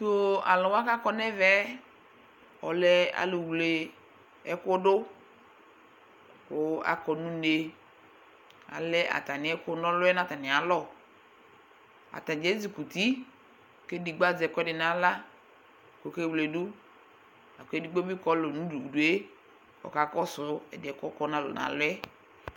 Tʋ alʋ wa kʋ akɔ nʋ ɛvɛ yɛ, ɔlɛ alʋwle ɛkʋ dʋ kʋ akɔ nʋ une Alɛ atamɩ ɛkʋnaɔlʋ yɛ nʋ atamɩalɔ Atanɩ ezikuti kʋ edigbo azɛ ɛkʋɛdɩ nʋ aɣla kʋ ɔkewledu la kʋ edigbo bɩ kɔlʋ nʋ udu udu yɛ ɔkakɔsʋ ɛdɩ yɛ kʋ ɔkɔ nʋ alɔ yɛ